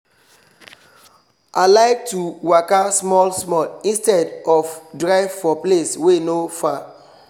i like to waka small small instead of to drive for place wey no far